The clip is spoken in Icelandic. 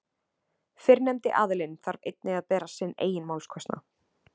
Fyrrnefndi aðilinn þarf einnig að bera sinn eigin málskostnað.